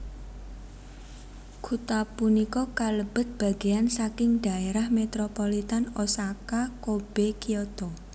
Kutha punika kalebet bagéyan saking dhaérah metropolitan Osaka Kobe Kyoto